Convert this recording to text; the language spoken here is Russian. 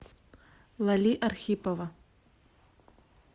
лали архипова